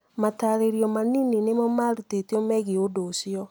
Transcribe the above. matarĩrio manini nimo marutitwo megiĩ ũndũ ũcio.